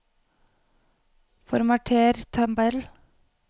Formater tabell